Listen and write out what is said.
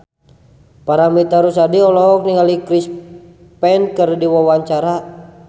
Paramitha Rusady olohok ningali Chris Pane keur diwawancara